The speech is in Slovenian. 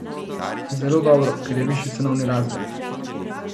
Zelo dobro, ker je višji cenovni razred.